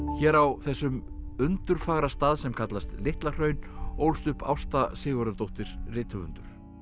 hér á þessum undurfagra stað sem kallast Litla Hraun ólst upp Ásta Sigurðardóttur rithöfundar